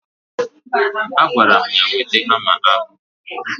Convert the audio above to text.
Agwara m ya, weta hama ahụ!